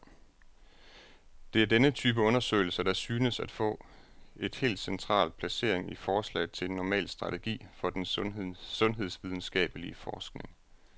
Det er denne type undersøgelser, der synes at få et helt central placering i forslaget til en normal strategi for den sundhedsvidenskabelig forskning.